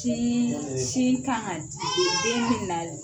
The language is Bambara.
Tiii sin kan ka di den ma den bɛna